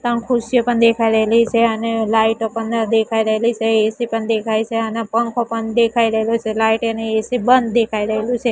ત્રણ ખુરસીઓ પણ દેખાઈ રહેલી છે અને લાઈટો પણ દેખાઈ રહેલી છે એ_સી પણ દેખાઈ છે અને પંખો પણ દેખાઈ રહેલો છે લાઇટ એની એ_સી બંધ દેખાઈ રહેલુ છે.